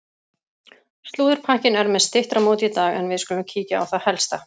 Slúðurpakkinn er með styttra móti í dag en við skulum kíkja á það helsta.